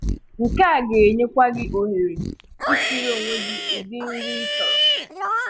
Nke a ga-enyèkwa gị ohere isìrí onwe gị ụdị nri ị chọrọ.